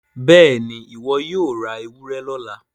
béèni iwọ yóò rá ewúrẹ lọla.